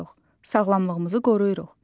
Sağlamlığımızı qoruyuruq.